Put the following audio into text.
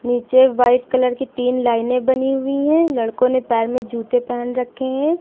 नीचे white colour की तीन लाइनें बनी हुई हैं लड़को ने पैर में जूते पहन रखे हैं।